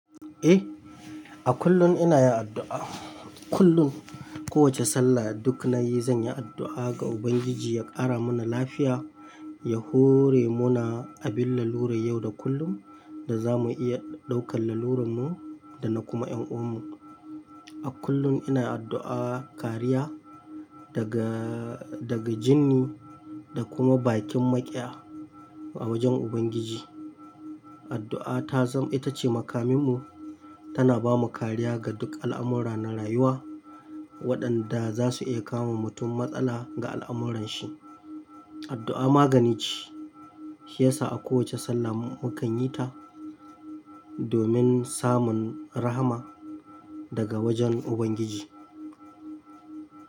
Eh, a kullum ina yin addu'a. Kullum kowace sallah duk nayi zan yi addu'a ga Ubangiji ya ƙara mana lafiya, ya hore mu na abin lalurar yau da kullum da za mu iya ɗaukar lalurarmu da na kuma ƴan uwannu. A kullum ina addu'a kariya daga, daga jinni da kuma bakin maƙiya a wajen Ubangiji. Addu'a ta zam ita ce makaminmu tana ba mu kariya ga duk al'amurra na rayuwa waɗanda za su iya kama mutum matsala ga al'amuranshi. Addu'a magani ce, shi yasa a kowace sallah mu kan yi ta domin samun rahama daga wajen Ubangiji.